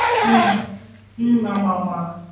உம் உம் ஆமா மா